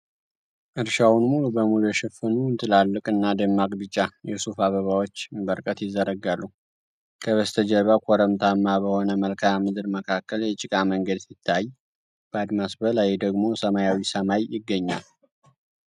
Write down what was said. እርሻውን ሙሉ በሙሉ የሸፈኑ ትላልቅ እና ደማቅ ቢጫ የሱፍ አበባዎች በርቀት ይዘረጋሉ። ከበስተጀርባ ኮረብታማ በሆነ መልክዓ ምድር መካከል የጭቃ መንገድ ሲታይ፣ በአድማስ ላይ ደግሞ ሰማያዊ ሰማይ ይገኛል።